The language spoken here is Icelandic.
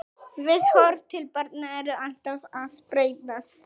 Viðhorf til barna eru alltaf að breytast.